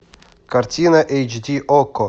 картина эйч ди окко